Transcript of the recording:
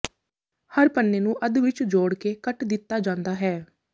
ਹਰ ਪੰਨੇ ਨੂੰ ਅੱਧ ਵਿਚ ਜੋੜ ਕੇ ਕੱਟ ਦਿੱਤਾ ਜਾਂਦਾ ਹੈ